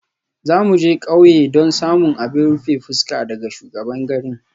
Za mu je ƙauye don samun abin rufe fuska daga shugaban garin.